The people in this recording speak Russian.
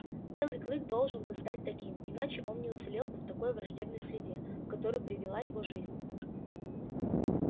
белый клык должен был стать таким иначе он не уцелел бы в той враждебной среде в которую привела его жизнь